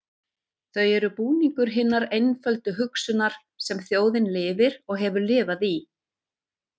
Þau eru búningur hinnar einföldu hugsunar, sem þjóðin lifir og hefur lifað í.